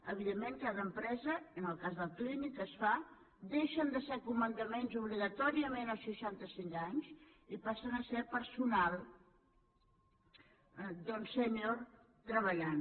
evidentment cada empresa en el cas del clínic es fa deixen de ser comandaments obligatòriament als seixanta cinc anys i passen a ser personal doncs sènior treballant